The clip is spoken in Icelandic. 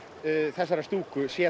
þessarar stúku sé